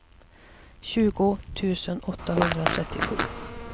tjugo tusen åttahundratrettiosju